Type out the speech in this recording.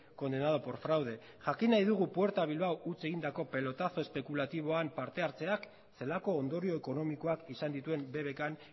condenado por fraude jakin nahi dugu puerta bilbao huts egindako pelotazo espekulatiboan parte hartzeak zelako ondorio ekonomikoak izan dituen bbkn